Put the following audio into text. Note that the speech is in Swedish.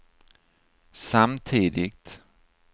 samtidigt